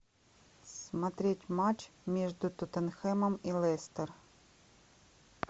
смотреть матч между тоттенхэмом и лестер